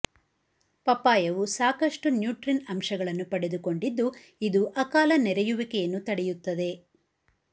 ಪಪ್ಪಾಯವು ಸಾಕಷ್ಟು ನ್ಯೂಟ್ರಿನ್ ಅಂಶಗಳನ್ನು ಪಡೆದುಕೊಂಡಿದ್ದು ಇದು ಅಕಾಲ ನೆರೆಯುವಿಕೆಯನ್ನು ತಡೆಯುತ್ತದೆ